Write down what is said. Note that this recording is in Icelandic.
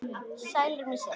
Sælir með sitt.